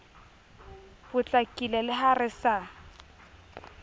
potlakile le ha re sa